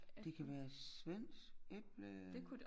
Det kan være svensk äpple